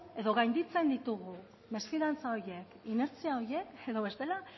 edo gainditzen ditugu mesfidantza horiek inertziak horiek edo bestela